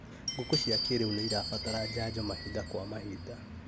Ngũkũ cia kĩrĩu nĩirabatara njanjo mahinda kwa mahinda